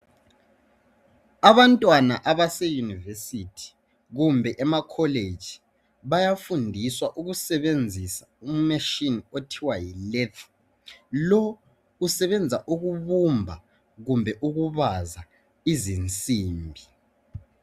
abantwana abase university kumbe ema college bayafundiswa ukusebenzisa u machine okuthiwa yi Leth lo usebenza ukubumba kumbe ukubaza izinsimbi